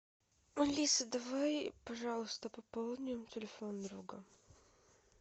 алиса давай пожалуйста пополним телефон друга